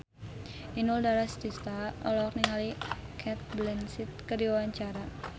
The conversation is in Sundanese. Inul Daratista olohok ningali Cate Blanchett keur diwawancara